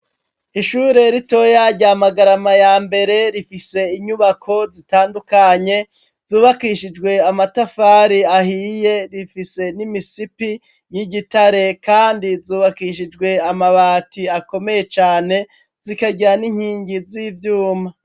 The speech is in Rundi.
Ishure ritoya rya Magarama ya mbere rifise inyubako zitandukanye, zubakishijwe amatafari ahiye rifise n'imisipi y'igitare. Kandi zubakishijwe amabati akomeye cane, zikagira n'inkingi z'ivyuma.